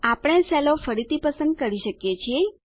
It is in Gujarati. આપણે સેલો ફરીથી પસંદ કરી શકીએ છીએ